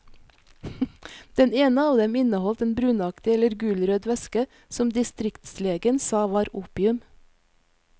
Den ene av dem inneholdt en brunaktig eller gulrød væske, som distriktslegen sa var opium.